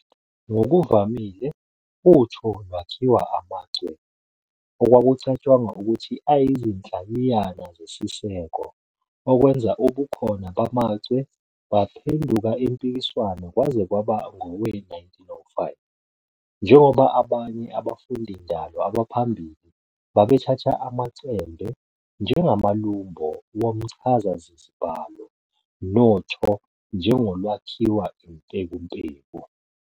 Ngokuvamile utho lwakhiwa amachwe, okwakucatshangwa ukuthi ayizinhlayiyana zesiseko, okwenza ubukhona bamachwe baphenduka impikiswano kwaze kwaba ngowe-1905, njengoba abanye abafundindalo abaphambili babethatha amachembe njengamalumbo womchazazibalo, notho njengolwakhiwa impekumpeku.